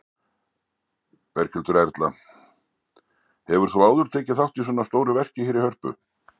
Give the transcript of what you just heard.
Berghildur Erla: Hefur þú áður tekið þátt í svona stóru verki hér í Hörpu?